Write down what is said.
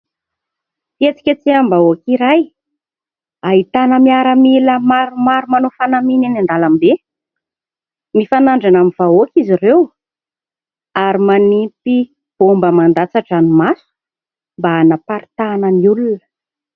Fihetsiketseham-bahoaka iray ahitana miaramila maromaro manao fanamiana eny an-dalambe. Mifanandrina amin'ny vahoaka izy ireo ary manisy baomba mandatsa-dranomaso mba anaparitahana ny olona.